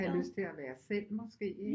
Have lyst til at være selv måske ikke